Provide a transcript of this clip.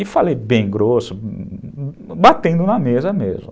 E falei bem grosso, batendo na mesa mesmo.